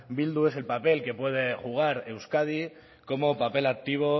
bildu es el papel que puede jugar euskadi como papel activo